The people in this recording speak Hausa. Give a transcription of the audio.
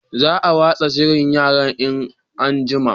Za a watsa shirin yaran in an'jima